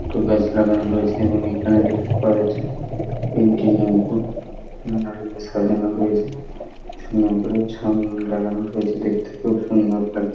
একটি গাছ লাগানো রয়েছে এবং এখানে দেখতে পাওয়া যাচ্ছে তিনটি নৌকো মেলায় সাজানো রয়েছে নৌকো ছাউনি লাগানো রয়েছে দেখতে খুব সুন্দর লাগছে।